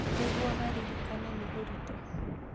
Nĩguo maririkane nĩ ũritũ